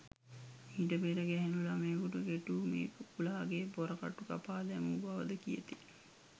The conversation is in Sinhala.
මීට පෙර ගැහැණු ළමයකුට කෙටූ මේ කුකුළාගේ පොරකටු කපා දැමූ බවද කියති.